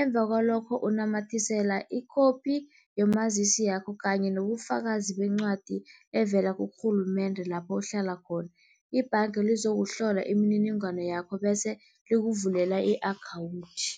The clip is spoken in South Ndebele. Emva kwalokho unamathisela i-copy yomazisi yakho kanye nobufakazi bencwadi evela kurhulumende lapho uhlala khona. Ibhanga lizokuhlola imininingwana yakho bese likuvulela i-akhawunthi.